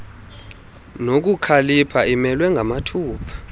nobukhalipha imelwe ngamathupha